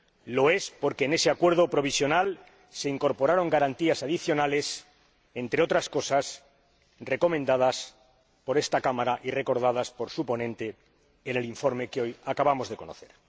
Lo es porque en ese acuerdo provisional se incorporaron garantías adicionales, entre otras cosas, recomendadas por esta Cámara y recordadas por su ponente en el informe que hoy acabamos de conocer.